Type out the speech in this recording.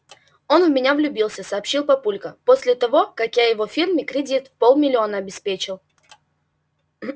он в меня влюбился сообщил папулька после того как я его фирме кредит в полмиллиона обеспечил